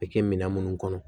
A bɛ kɛ minɛn minnu kɔnɔ